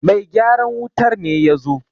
Mai gyaran wutar ne ya zo!